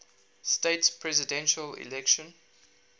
states presidential election